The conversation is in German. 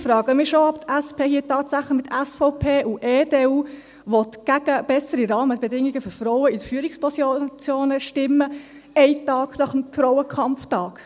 Ich frage mich schon, ob die SP hier tatsächlich mit SVP und EDU gegen bessere Rahmenbedingungen für Frauen in Führungspositionen stimmen will, einen Tag nach dem Frauenkampftag.